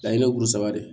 A ye ne kulo saba de